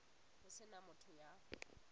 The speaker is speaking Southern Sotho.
ho se na motho ya